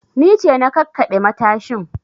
Ni ce na kakkaɓe matashin